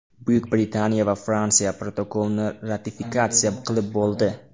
Buyuk Britaniya va Fransiya protokolni ratifikatsiya qilib bo‘ldi”.